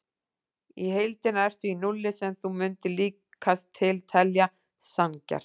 Í heildina ertu í núlli sem þú mundir líkast til telja sanngjarnt.